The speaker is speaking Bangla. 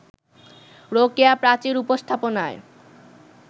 রোকেয়া প্রাচীর উপস্থাপনায়